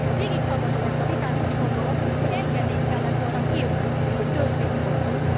Ha végighallgatom ezt a vitát, úgy gondolom, hogy engedélyt kellett volna kérnünk, hogy törvényt hozzunk.